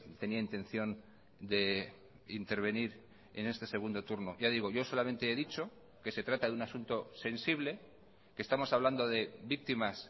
tenía intención de intervenir en este segundo turno ya digo yo solamente he dicho que se trata de un asunto sensible que estamos hablando de víctimas